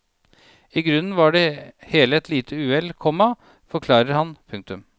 I grunnen var det hele et lite uhell, komma forklarer han. punktum